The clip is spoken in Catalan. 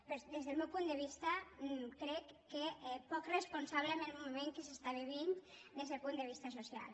però és des del meu punt de vista crec que poc responsable amb el moment que s’està vivint des del punt de vista social